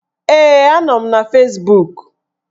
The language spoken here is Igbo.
Ee, a nọ m na Fezbuk